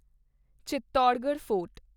Chittorgarh fort